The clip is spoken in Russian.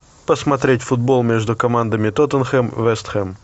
посмотреть футбол между командами тоттенхэм вест хэм